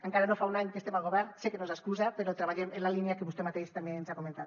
encara no fa un any que estem al govern sé que no és excusa però treballem en la línia que vostè mateix també ens ha comentat